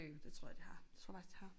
Det tror jeg de har det tror jeg faktisk de har